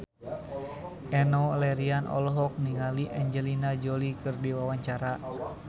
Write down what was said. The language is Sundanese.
Enno Lerian olohok ningali Angelina Jolie keur diwawancara